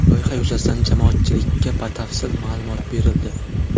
Loyiha yuzasidan jamoatchilikka batafsil ma’lumot berildi.